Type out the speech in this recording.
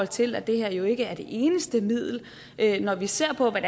til at det her jo ikke er det eneste middel når vi ser på hvad